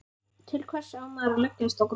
Til hvers á maður að leggjast á grúfu?